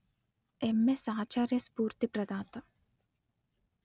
MS Acharya స్ఫూర్తి ప్రదాత